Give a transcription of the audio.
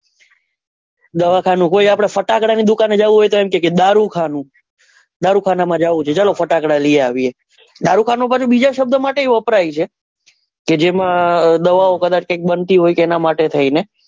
દવાખાનું કોઈ આપડે ફટાકડા ની દુકાન જવુ હોય તો કએ એમ કે દારૂખાનું દારૂખાનું માં જવું છે ચાલો ફટાકડા લઇ આવીએ દારૂખાનું પાછુ બીજા શબ્દ માટે પણ વપરાય છે કે જેમાં દવાઓ કદાચ કઈક બનતી હોય તો એના માટે,